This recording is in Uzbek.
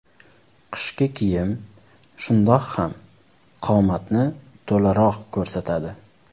Qishki kiyim shundoq ham qomatni to‘laroq ko‘rsatadi.